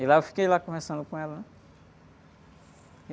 E lá, eu fiquei lá, conversando com ela, hãn?